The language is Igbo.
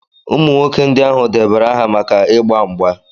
Ụmụ nwoke ndị ahụ debara aha maka ịgba mgba